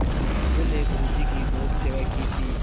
अलगू ने गुरु जी की बहुत सेवा की थी